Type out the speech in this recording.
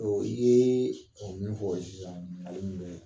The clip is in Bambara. Ɔ i ye o min fɔ o ye sisan,